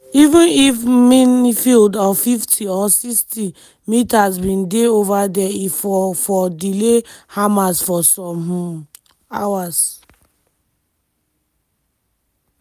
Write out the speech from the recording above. even if minefield of 50 or 60 metres bin dey ova dia e for for delay hamas for some um hours."